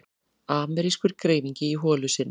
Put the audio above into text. Amerískur greifingi í holu sinni.